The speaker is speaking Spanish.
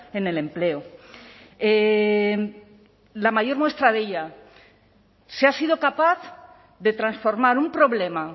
en el empleo la mayor muestra de ella se ha sido capaz de transformar un problema